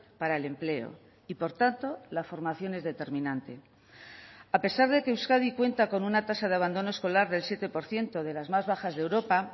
para el empleo y por tanto la formación es determinante a pesar de que euskadi cuenta con una tasa de abandono escolar del siete por ciento de las más bajas de europa